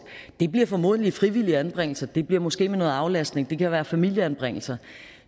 det bliver formodentlig frivillige anbringelser det bliver måske med noget aflastning det kan være familieanbringelser